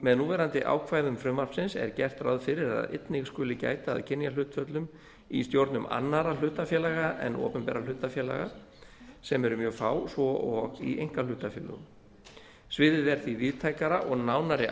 með núverandi ákvæðum frumvarpsins er gert ráð fyrir að einnig skuli gæta að kynjahlutföllum í stjórnum annarra hlutafélaga en opinberra hlutafélaga sem eru mjög fá svo og í einkahlutafélögum sviðið er því víðtækara og nánari